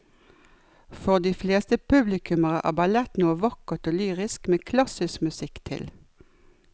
For de fleste publikummere er ballett noe vakkert og lyrisk med klassisk musikk til.